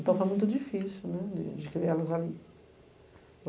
Então, foi muito difícil de criá-las ali.